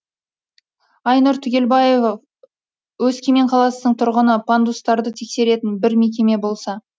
арнұр түгелбаев өскемен қаласының тұрғыны пандустарды тексеретін бір мекеме болса